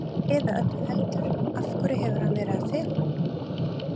Eða öllu heldur, af hverju hefur hann verið að fela hann?